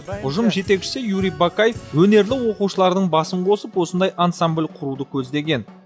ұжым жетекшісі юрий бакай өнерлі оқушылардың басын қосып осындай ансамбль құруды көздеген